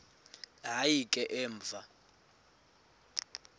hayi ke emva